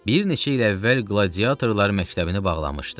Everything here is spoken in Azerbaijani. Bir neçə il əvvəl qladiatorlar məktəbini bağlamışdı.